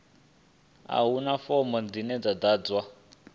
a huna fomo dzine dza ḓadzwa